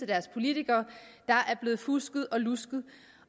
deres politikere der er blevet fusket og lusket